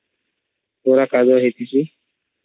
ପୁରା କାଦୁଆ ହଇକିଚେ